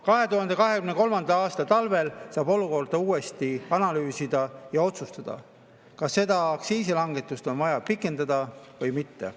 2023. aasta talvel saab olukorda uuesti analüüsida ja otsustada, kas seda aktsiisilangetust on vaja pikendada või mitte.